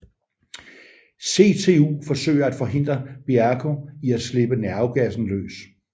CTU forsøger at forhindre Bierko i at slippe nervegassen løs